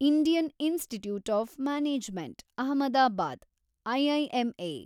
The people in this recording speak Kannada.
Indian institute of management Ahmedabad, IIMA